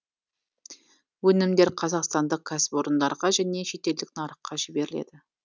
өнімдер қазақстандық кәсіпорындарға және шетелдік нарыққа жіберіледі